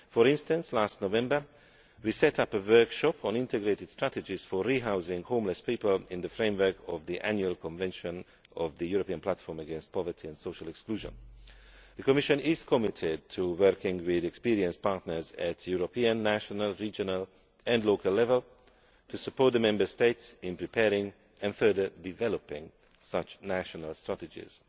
For instance, last November, we set up a workshop on integrated strategies for re housing homeless people in the framework of the Annual Convention of the European Platform against Poverty and Social Exclusion. The Commission is committed to working with experienced partners at European, national, regional and local level to support the Member States in preparing and further developing such national strategies.